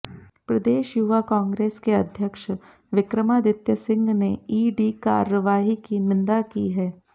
प्रदेश युवा कांग्रेस के अध्यक्ष विक्रमादित्य सिंह ने ईडी कार्रवाई की निंदा की है